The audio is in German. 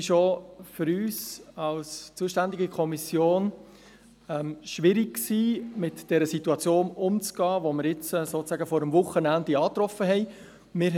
Auch für uns als zuständige Kommission war es schwierig, mit der Situation, die wir sozusagen vor dem Wochenende angetroffen hatten, umzugehen.